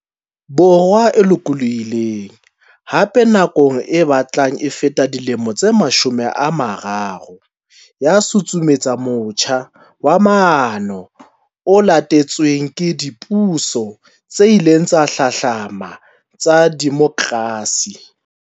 Borwa e lokolohi leng, hape, nakong e batlang e feta dilemo tse mashome a mararo, ya susumetsa motjha wa maano o latetsweng ke dipuso tse ileng tsa hlahlamana tsa demokrasi.